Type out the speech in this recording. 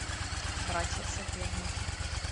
братья соперники